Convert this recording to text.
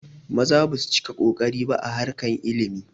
Maza basu cika kokari ba a harkar ilimi